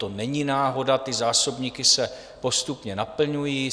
To není náhoda, ty zásobníky se postupně naplňují.